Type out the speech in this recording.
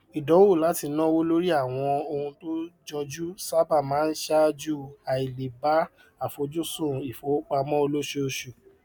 ìdánwò láti náwó lórí àwọn ohun tó jọjú sábà máa ṣáájú àìleè bá àfojúsùn ìfowópamọ olósooṣù